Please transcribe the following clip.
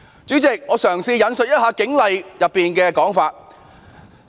主席，我引述《警察通例》的一些規定。